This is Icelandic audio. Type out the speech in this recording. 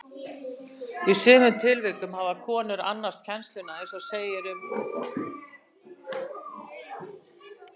Í sumum tilvikum hafa konur annast kennsluna eins og segir um móður Þorláks biskups Þórhallssonar.